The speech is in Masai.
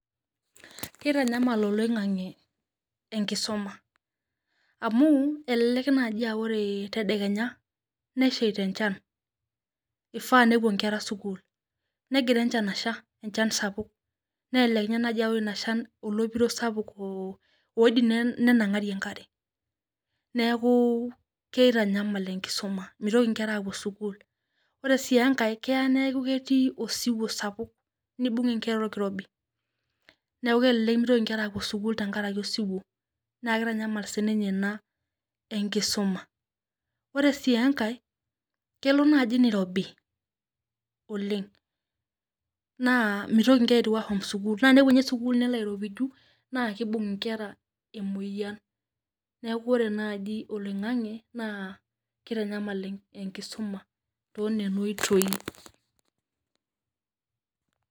Kitanyamal oloing'ang'e enkisuma. Amu, elelek naji ah ore tedekenya, nesheita enchan. Ifaa nepuo nkera sukuul. Negira enchan asha enchan sapuk. Nelelek ninye ah ore inshan olopiro sapuk oidim nenang'ari enkare. Neeku keitanyamal enkisuma. Mitoki nkera apuo sukuul. Ore si enkae, keeya neeku ketii osiwuo sapuk. Nibung' inkera orkirobi. Neeku kelelek mitoki nkera apuo sukuul tenkaraki osiwuo. Na kitanyamal sininye ina enkisuma. Ore si enkae, kelo naji nirobi oleng. Naa mitoki nkera aitiu apuo sukuul. Naa enepuo nye sukuul nelo airopiju, naa kibung' inkera emoyian. Neeku ore naji oloing'ang'e, naa kitanyamal enkisuma tonena oitoi.